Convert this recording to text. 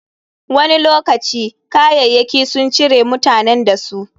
Wani lokaci, kayayyaki sun cire mutanen da su.